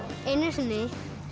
einu sinni í